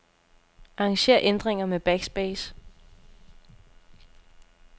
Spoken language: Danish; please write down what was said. Arranger ændringer med backspace.